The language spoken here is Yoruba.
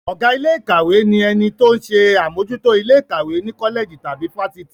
Ọ̀gá ilé ìkàwé ni ẹni tó ń ṣe àmójútó ilé ìkàwé ní kọ́lẹ̀jì tàbí fáfitì.